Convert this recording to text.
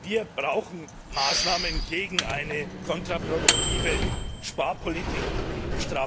Wir brauchen Maßnahmen gegen eine kontraproduktive Sparpolitik, nicht Strafaktionen!